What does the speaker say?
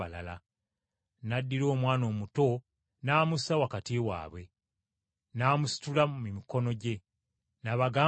N’addira omwana omuto n’amussa wakati waabwe, n’amusitula mu mikono gye n’abagamba nti,